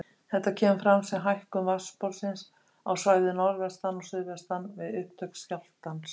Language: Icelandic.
Þetta kemur fram sem hækkun vatnsborðsins á svæði norðvestan og suðaustan við upptök skjálftans.